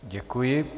Děkuji.